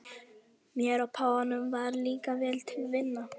Mér og páfanum varð líka vel til vina.